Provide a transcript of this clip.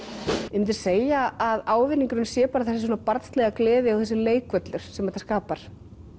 ég myndi segja að ávinningurinn sé bara þessi barnslega gleði og þessi leikvöllur sem þetta skapar